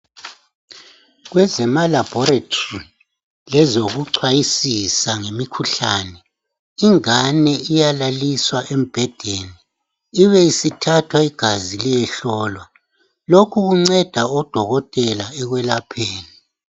Kwezemalaboratory lezokuchwayisisa ngemikhuhlane, ingane iyalaliswa embhedeni ibesithathwa igazi liyehlolwa. Lokhu kunceda odokotela ekwelapheni.